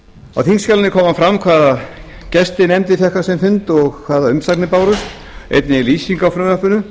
á þingskjalinu kemur fram hvaða gesti nefndin fékk á sinn fund og hvaða umsagnir bárust einnig er lýsing á frumvarpinu